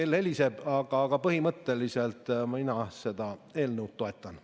Kell heliseb, aga põhimõtteliselt mina seda eelnõu toetan.